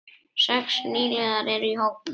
Sex nýliðar eru í hópnum.